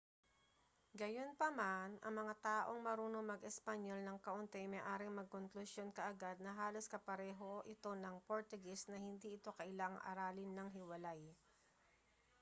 gayunpaman ang mga taong marunong mag-espanyol nang kaunti ay maaaring magkonklusyon kaagad na halos kapareho ito ng portuges na hindi ito kailangang aralin nang hiwalay